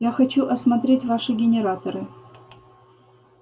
я хочу осмотреть ваши генераторы